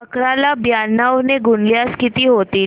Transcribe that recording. अकरा ला ब्याण्णव ने गुणल्यास किती होतील